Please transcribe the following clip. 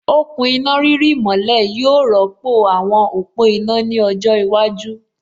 Okùn iná rírì mọ́lẹ̀ yóò rọ́pò àwọn òpó iná ní ọjọ́ iwájú